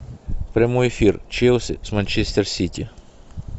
прямой эфир челси с манчестер сити